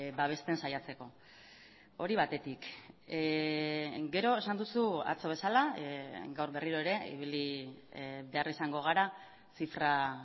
babesten saiatzeko hori batetik gero esan duzu atzo bezala gaur berriro ere ibili behar izango gara zifra